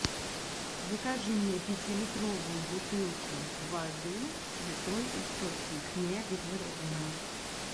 закажи мне пятилитровую бутылку воды святой источник негазированную